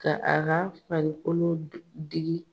Ka a ka farikolo digi.